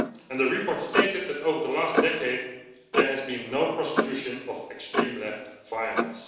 The report stated that over the last decade there has been no prosecution of extreme-left violence.